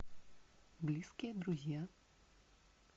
близкие друзья